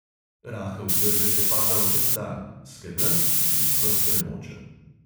Rahel dežek je padal ves dan, skedenj je bil ves premočen.